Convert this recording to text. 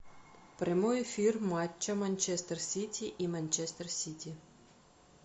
прямой эфир матча манчестер сити и манчестер сити